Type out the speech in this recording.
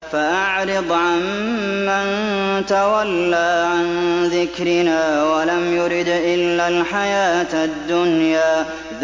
فَأَعْرِضْ عَن مَّن تَوَلَّىٰ عَن ذِكْرِنَا وَلَمْ يُرِدْ إِلَّا الْحَيَاةَ الدُّنْيَا